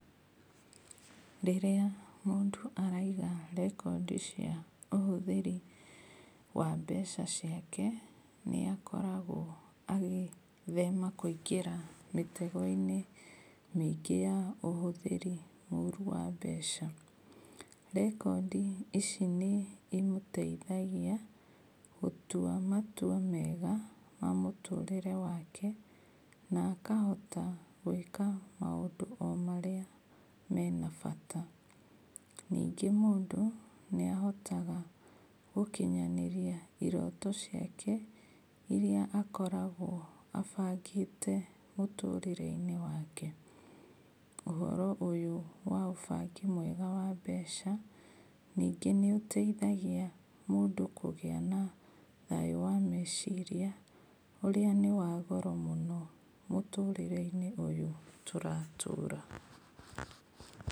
Rĩrĩa mũndũ araiga rekondi cia ũhũthĩri wa mbeca ciake, nĩakoragwo agĩĩthema kũingĩra mĩtego-inĩ mĩingĩ ya ũhũthĩri mũru wa mbeca. Rekondi ici nĩ cimũteithagia gũtua matua mega mamũtũrĩre wake, na akahota gũĩka maũndũ o marĩa mena bata. Ningĩ mũndũ nĩ ahotaga gũkinyanĩrĩa iroto ciake, iria akoragwo abangĩte mũtũrĩre-inĩ wake, ũhoro ũyũ wa ũbangi mwega wa mbeca ningĩ nĩ ũteithagia mũndũ ningĩ kũgĩa na thayũ wa meciria, ũrĩa nĩwagoro mũno mũtũrĩre-inĩ ũyũ tũratũra.